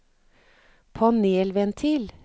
panelventil